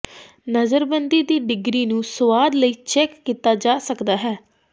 ਨਜ਼ਰਬੰਦੀ ਦੀ ਡਿਗਰੀ ਨੂੰ ਸੁਆਦ ਲਈ ਚੈੱਕ ਕੀਤਾ ਜਾ ਸਕਦਾ ਹੈ